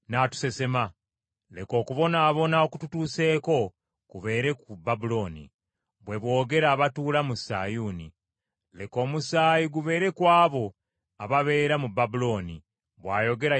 Leka okubonaabona okututuuseeko kubeere ku Babulooni,” bwe boogera abatuula mu Sayuuni. “Leka omusaayi gubeere ku abo ababeera mu Babulooni,” bwayogera Yerusaalemi.